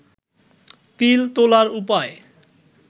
তিল তোলার উপায়